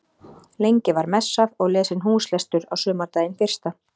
Lengi var messað og lesinn húslestur á sumardaginn fyrsta.